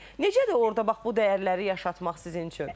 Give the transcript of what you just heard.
Necədir orda bax bu dəyərləri yaşatmaq sizin üçün?